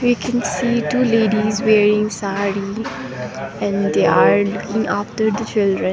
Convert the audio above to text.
i can see two ladies wearing saree and they are looking after the children.